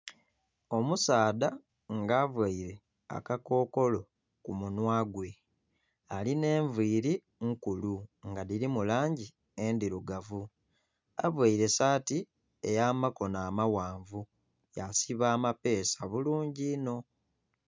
Omusaadha nga availe akakokolo ku munhwa gwe. Alina envili nkulu nga dhilimu langi endhirugavu. Availe saati ey'amakono amaghanvu yasiba amapeesa bulungi inho.